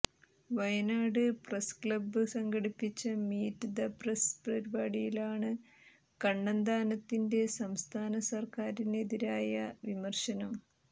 Wayanad press club സംഘടിപ്പിച്ച meet the press പരിപാടിയിലാണ് കണ്ണന്താനത്തിന്റെ സംസ്ഥാന സര്ക്കാരിനെതിരായ വിമര്ശനം